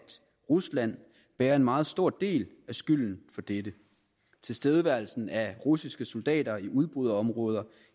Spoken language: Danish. rusland bærer en meget stor del af skylden for dette tilstedeværelsen af russiske soldater i udbryderområder